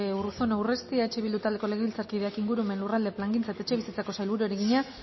urruzuno urresti eh bildu taldeko legebiltzarkideak ingurumen lurralde plangintza eta etxebizitzako sailburuari egina